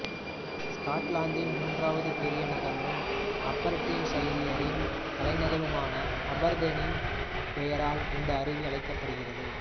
ஸ்காட்லாந்தின் மூன்றாவது பெரிய நகரமும் அபெர்டீன்ஷையரின் தலைநகருமான அபெர்தீனின் பெயரால் இந்த அருவி அழைக்கப்படுகிறது